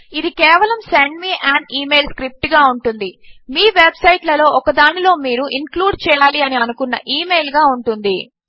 ఇది కేవలము send me an email script గా ఉంటుంది మీ వెబ్ సైట్ లలో ఒకదానిలో మీరు ఇన్క్లూడ్ చేయాలి అని అనుకున్న ఇమెయిల్ గా ఉంటుంది